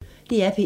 DR P1